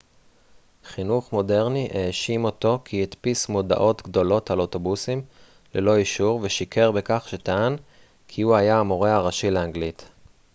חינוך מודרני האשים אותו כי הדפיס מודעות גדולות על אוטובוסים ללא אישור ושיקר בכך שטען כי הוא היה המורה הראשי לאנגלית